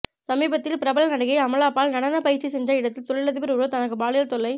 சமீபத்தில் பிரபல நடிகை அமலாபால் நடன பயிற்சி சென்ற இடத்தில் தொழிலதிபர் ஒருவர் தனக்கு பாலியல் தொல்லை